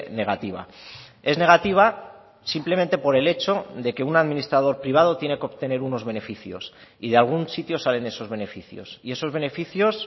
negativa es negativa simplemente por el hecho de que un administrador privado tiene que obtener unos beneficios y de algún sitio salen esos beneficios y esos beneficios